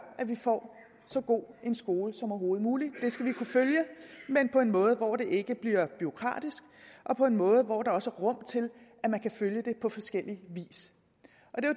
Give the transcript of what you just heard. at vi får så god en skole som overhovedet muligt og det skal vi kunne følge men på en måde hvor det ikke bliver bureaukratisk og på en måde hvor der også er rum til at man kan følge det på forskellig vis